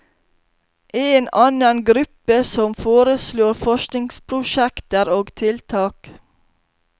En annen gruppe som foreslår forskningsprosjekter og tiltak.